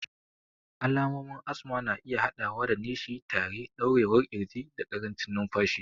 Alamomin asma na iya haɗawa da nishi, tari, ɗaurewar ƙirji, da ƙarancin numfashi.